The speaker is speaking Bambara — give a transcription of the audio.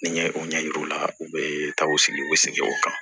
Ni n ye o ɲɛ yira u la u bɛ taa u sigi u bɛ segin o kan